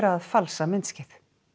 að falsa myndskeið